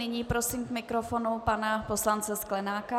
Nyní prosím k mikrofonu pana poslance Sklenáka.